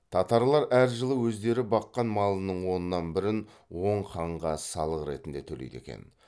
татарлар әр жылы өздері баққан малының оннан бірін оң ханға салық ретінде төлейді екен